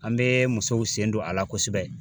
An bee musow sen don a la kosɛbɛ